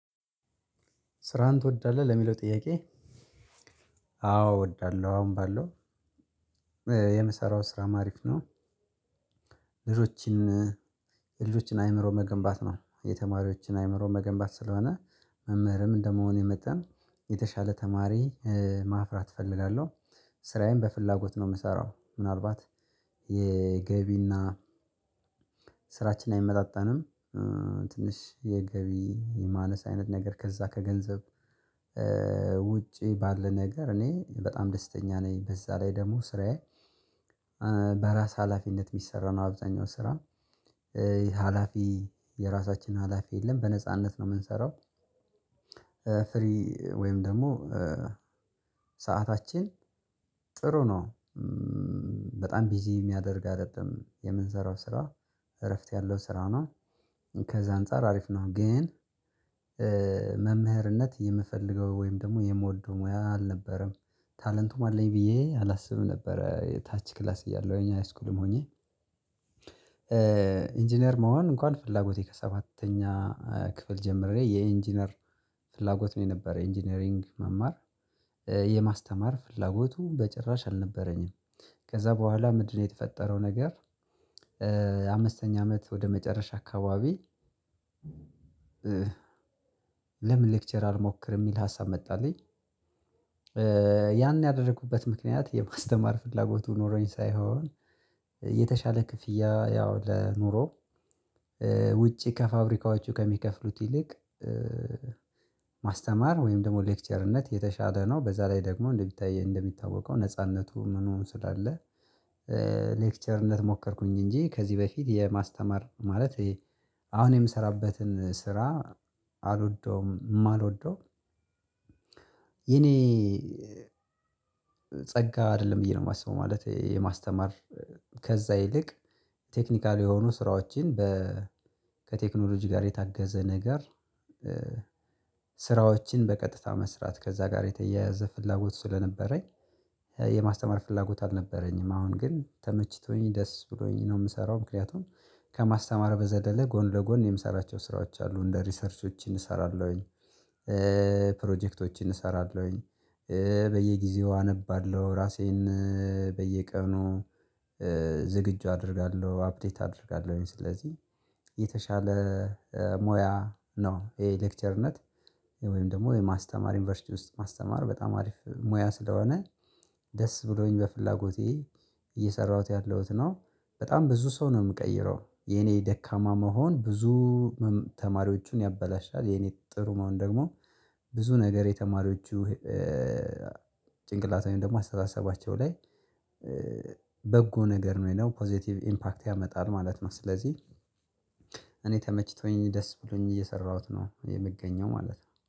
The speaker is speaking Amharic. ስራህን ትወዳለህ ለሚለው ጥያቄ? አዎ እወዳለሁ አሁን ባለው የምሰራው ስራም አሪፍ ነው። ልጆችን የልጆችን አይምሮ መገንባት ነው የተማሪዎችን አእምሮ መገንባት ስለሆነ መምህርም እንደመሆኔ መጠን የተሻለ ተማሪ ማፍራት እፈልጋለሁ። ስራዬን በፍላጎት ነው የምሰራው ምናልባት የገቢ እና ስራችን አይመጣጣንም። ትንሽ የገቢ ማነስ አይነት ነገር ከዛ ከገንዘብ ውጪ ባለ ነገር እኔ በጣም ደስተኛ ነኝ በዛ ላይ ደግሞ ስራዬ። በራስ ሀላፊነት የሚሰራ ነው አብዛኛው ስራ ሀላፊ የራሳችን ሀላፊ የለም በነጻነት ነው የምንሰራው። ፍሪ ወይም ደግሞ ሰዓታችን ጥሩ ነው። በጣም ቢዚ የሚያደርግ አይደለም የምንሰራው ስራ እረፍት ያለው ስራ ነው ከዛ አንፃር አሪፍ ነው። ግን መምህርነት የምፈልገው ወይም ደግሞ የምወደው ሙያ አልነበረም። ታለንቱም አለኝ ብዬ አላስብም ነበር የታች ክላስ እያለሁ ሃይስኩልም ሆኜ ኢንጂነር መሆን እንኳን ፍላጎቴ ከሰባተኛ ክፍል ጀምሬ የኢንጂነር ፍላጎት ነው የነበረኝ ኢንጂነሪንግ መማር የማስተማር ፍላጎቱ በጭራሽ አልነበረኝም። ከዛ በኋላ ምንድነው የተፈጠረው ነገር? አምስተኛ አመት ወደ መጨረሻ አካባቢ ለምን ሌክቸር አልሞክርም የሚል ሀሳብ መጣልኝ። ያን ያደረኩበት ምክንያት የማስተማር ፍላጎቱ ኖሮኝ ሳይሆን የተሻለ ክፍያ ያው ለኑሮ ውጪ ከፋብሪካዎቹ ከሚከፍሉት ይልቅ ማስተማር ወይም ደግሞ ሌክቸርነት የተሻለ ነው። በዛ ላይ ደግሞ እንደሚታየው እንደሚታወቀው ነጻነቱ ምኑ ስላለ ሌክቸርነት ሞከርኩኝ። እንጂ ከዚህ በፊት የማስተማር ማለት አሁን የምሰራበትን ስራ አልወደውም የማልወደው የኔ ጸጋ አይደለም ብዬ ነው የማስበው። ማለት የማስተማር ከዛ ይልቅ ቴክኒካል የሆኑ ስራዎችን በ ከቴክኖሎጂ ጋር የታገዘ ነገር ስራዎችን በቀጥታ መስራት ከዛ ጋር የተያያዘ ፍላጎት ስለነበረኝ። የማስተማር ፍላጎት አልነበረኝም አሁን ግን ተመችቶኝ ደስ ብሎኝ ነው የምሰራው ምክንያቱም ከማስተማር በዘለለ ጎን ለጎን የምሰራቸው ስራዎች አሉ እንደ ሪሰርቾችን እሰራለሁኝ ፕሮጀክቶችን እሰራለሁኝ። በየጊዜው አነባለሁ ራሴን በየቀኑ ዝግጁ አደርጋለሁ አፕዴት አደርጋለሁኝ ስለዚህ የተሻለ ሞያ ነው። ይሄ ሌክቸርነት ወይም ደግሞ የማስተማር ዩኒቨርሲቲ ውስጥ ማስተማር በጣም አሪፍ ሙያ ስለሆነ ደስ ብሎኝ በፍላጎቴ እየሰራሁት ያለሁት ነው። በጣም ብዙ ሰው ነው የምቀይረው የኔ ደካማ መሆን ብዙ ተማሪዎቹን ያበላሻል የኔ ጥሩ መሆን ደግሞ ብዙ ነገር የተማሪዎቹ ጭንቅላት ወይም ደግሞ አስተሳሰባቸው ላይ በጎ ነገር ነው ወይም ደግሞ ፖዘቲቭ ኢምፓክት ያመጣል ማለት ነው። ስለዚህ እኔ ተመችቶኝ ደስ ብሎኝ እየሰራሁት ነው የምገኘው ማለት ነው